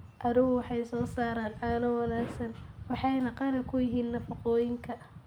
Adhigu waxay soo saaraan caano wanaagsan waxayna qani ku yihiin nafaqooyinka.